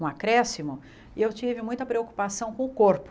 um acréscimo, eu tive muita preocupação com o corpo.